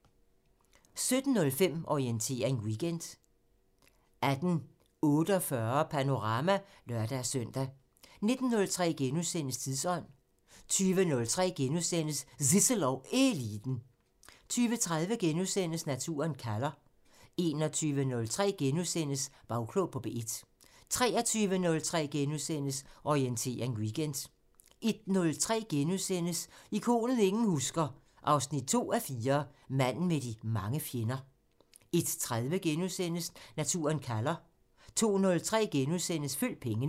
17:05: Orientering Weekend 18:48: Panorama (lør-søn) 19:03: Tidsånd * 20:03: Zissel og Eliten * 20:30: Naturen kalder * 21:03: Bagklog på P1 * 23:03: Orientering Weekend * 01:03: Ikonet ingen husker – 2:4 Manden med de mange fjender * 01:30: Naturen kalder * 02:03: Følg pengene *